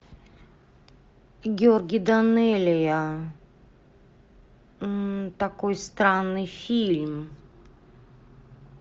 георгий данелия такой странный фильм